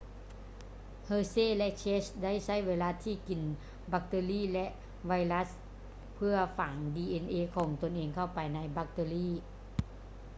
hershey ແລະ chase ໄດ້ໃຊ້ໄວຣັສທີ່ກິນບັກເຕີຣີ ຫຼື ໄວຣັສເພື່ອຝັງ dna ຂອງຕົນເອງເຂົ້າໄປໃນບັກເຕີຣີ